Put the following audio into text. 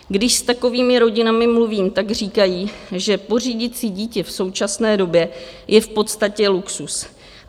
Když s takovými rodinami mluvím, tak říkají, že pořídit si dítě v současné době je v podstatě luxus.